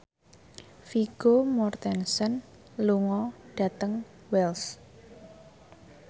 Vigo Mortensen lunga dhateng Wells